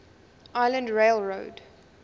island rail road